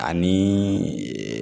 Ani